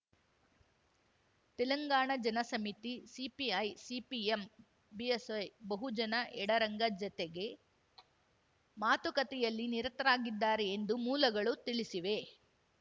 Telangana Jana Samithi CPI CPM BSP ಬಹುಜನ ಎಡರಂಗ ಜತೆಗೆ ಮಾತುಕತೆಯಲ್ಲಿ ನಿರತರಾಗಿದ್ದಾರೆ ಎಂದು ಮೂಲಗಳು ತಿಳಿಸಿವೆ